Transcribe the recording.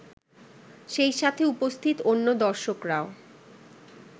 সেই সাথে উপস্থিত অন্য দর্শকরাও